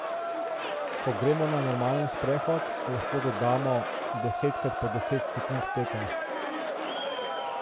Ko gremo na normalen sprehod, lahko dodamo desetkrat po deset sekund teka.